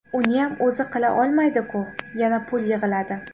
Uniyam o‘zi qila olmaydiku, yana pul yig‘iladi.